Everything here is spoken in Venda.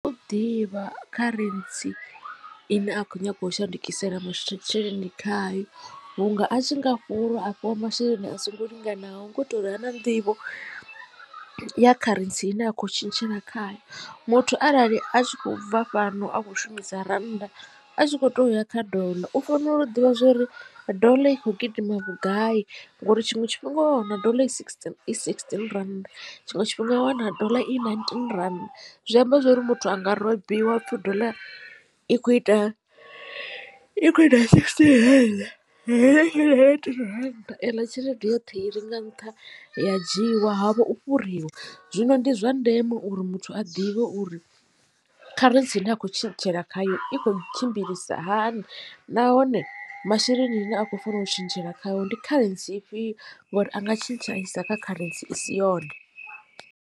U tea u ḓivha kharentsi ine a khou nyaga u shandukisela masheleni khayo vhunga a tshi nga fhurwa a fhiwa masheleni a songo linganaho ngo to ri ha na nḓivho ya kharentsi ine a khou tshintshela khayo. Muthu arali a tshi khou bva fhano a khou shumisa rannda a tshi kho to ya kha doḽa u fanela u ḓivha zwori ḓola i kho gidima vhugai ngori tshiṅwe tshifhinga wa wana ḓola i sixteen i sixteen rannda tshiṅwe tshifhinga wa wana dollar i ninteen rannda. Zwi amba zwori muthu anga robiwa hapfhi dollar i kho ita i kho ita sixteen hei heyi ya rannda eḽa tshelede yoṱhe i re nga nṱha ya dzhiwa havho u fhuriwa zwino ndi zwa ndeme uri muthu a ḓivhe uri kharentsi ine a khou tshintshela khayo i kho tshimbilisa hani nahone masheleni ane a khou fanela u tshintshela khayo ndi kharentsi ifhio ngori a nga tshintsha a isa kha kharentsi i si yone.